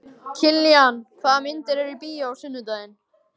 Kiljan, hvaða myndir eru í bíó á sunnudaginn?